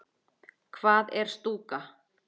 Hvað er stúka?